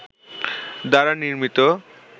দ্বারা নির্মিত